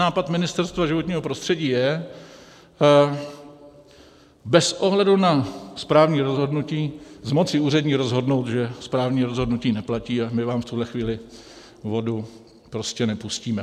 Nápad Ministerstva životního prostředí je bez ohledu na správní rozhodnutí z moci úřední rozhodnout, že správní rozhodnutí neplatí a my vám v tuhle chvíli vodu prostě nepustíme.